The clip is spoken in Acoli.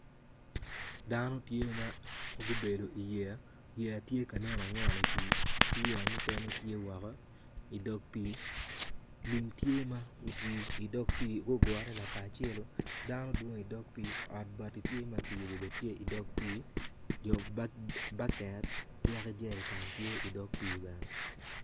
Dano tye magubedo i wi yeya yeya tye angwen i pi ki yeya mukene tye woko idog pi, lum tye ma otwi idog pii gugure lakaracelu dano dwong i dog pii ot bati bene tye maki yubo i dog pii baket ki yaka jereken bene tye i dog pi bene.